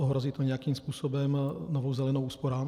Ohrozí to nějakým způsobem Novou zelenou úsporám?